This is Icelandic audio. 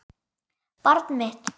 Barn mitt.